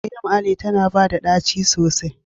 Cream Ale tana bata da daci sosai.